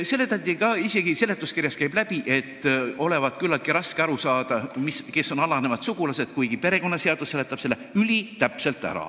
Seletati – see käib isegi seletuskirjast läbi –, et olevat küllaltki raske aru saada, kes on alanejad sugulased, kuigi perekonnaseadus seletab selle ülitäpselt ära.